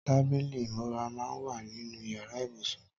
Tàbílí imúrà mà n wà ninú iyàrá ibúsún